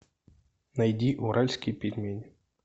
найди уральские пельмени